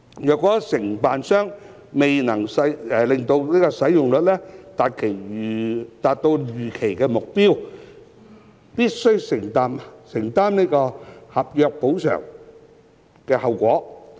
如承辦商未能令使用率達到預期目標，必須承擔合約補償及後果。